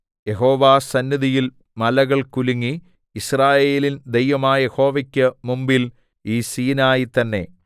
യഹോവാസന്നിധിയിൽ മലകൾ കുലുങ്ങി യിസ്രായേലിൻ ദൈവമായ യഹോവക്കു മുമ്പിൽ ഈ സീനായി തന്നേ